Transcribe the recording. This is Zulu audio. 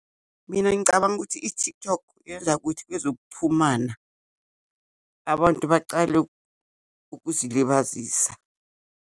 Mina, ngicabanga ukuthi i-TikTok yenza ukuthi kwezokuchumana, abantu bacale ukuzilibazisa.